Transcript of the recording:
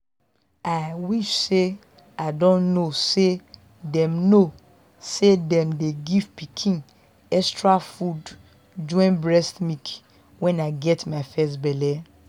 i wish say i don know say them know say them dey give pikin extra food join breast milk when i get my first belle.